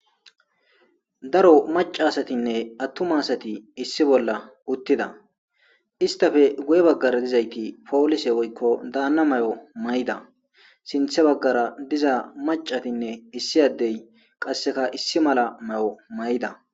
Daro Maca asatinne atuma asati issi bolla utida , istappe guye bagara dizayti polise woyko Dana mayo mayida, sinthe bagara diza macatinne issi adeyi qaseka issi mala mayida.